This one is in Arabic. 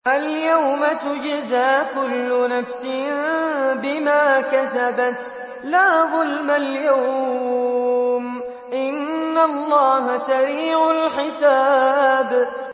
الْيَوْمَ تُجْزَىٰ كُلُّ نَفْسٍ بِمَا كَسَبَتْ ۚ لَا ظُلْمَ الْيَوْمَ ۚ إِنَّ اللَّهَ سَرِيعُ الْحِسَابِ